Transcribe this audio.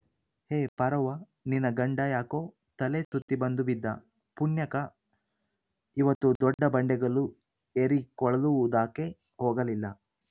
ಹೇ ಪಾರವ್ವ ನಿನ ಗಂಡ ಯಾಕೋ ತಲೆ ಸುತ್ತಿಬಂದು ಬಿದ್ದ ಪುಣ್ಯಕ ಇವತ್ತು ದೊಡ್ಡ ಬಂಡೆಗಲ್ಲು ಏರಿ ಕೊಳಲು ಊದಾಕೆ ಹೋಗಲಿಲ್ಲ